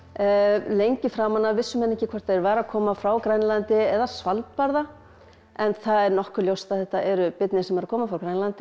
lengi framan af vissu menn ekki hvort þeir væru að koma frá Grænlandi eða Svalbarða en það er nokkuð ljóst að þetta eru birnir sem eru að koma frá Grænlandi